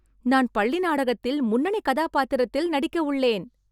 நான் பள்ளி நாடகத்தில் முன்னணி கதாபாத்திரத்தில் நடிக்கு உள்ளேன்